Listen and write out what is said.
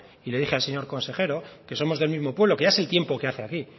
y le dije al señor consejero que somos del mismo pueblo que ya se el tiempo que hace aquí